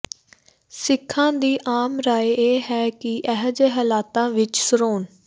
ਸਿੱਖਾਂ ਦੀ ਆਮ ਰਾਇ ਇਹ ਹੈ ਕਿ ਅਜਿਹੇ ਹਾਲਾਤਾਂ ਵਿੱਚ ਸ਼੍ਰੋ